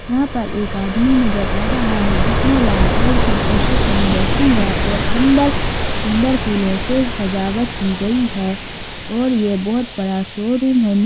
यहाँ पर एक आदमी नज़र आ रहा है जिसने लाल कलर कि टी शर्ट पहन रखी है और अंदर फूलो से सजावट की गई है और ये बहोत बड़ा शोरूम है।